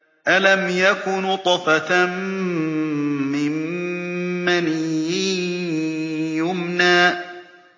أَلَمْ يَكُ نُطْفَةً مِّن مَّنِيٍّ يُمْنَىٰ